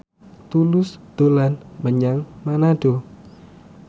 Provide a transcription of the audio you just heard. Tulus dolan menyang Manado